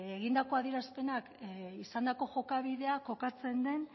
egindako adierazpenak izandako jokabidea kokatzen den